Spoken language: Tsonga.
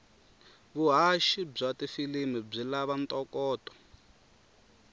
vuhhashi bwatifilimu bwilavanto koto